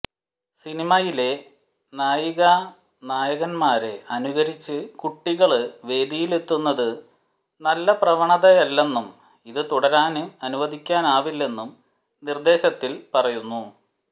സിനിമയിലെ നായികാനായകന്മാരെ അനുകരിച്ച് കുട്ടികള് വേദിയിലെത്തുന്നത് നല്ല പ്രവണതയല്ലെന്നും ഇതു തുടരാന് അനുവദിക്കാനാവില്ലെന്നും നിർദേശത്തിൽ പറയുന്നു